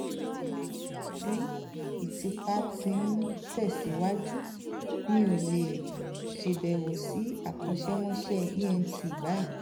níwọ̀n um ìgbà tí ìtìpa ti ń tẹ̀síwájú mi ò lè ṣàbẹ̀wò sí akọ́ṣẹ́mọṣẹ́ ent báyìí